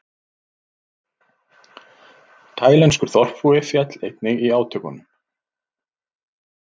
Taílenskur þorpsbúi féll einnig í átökunum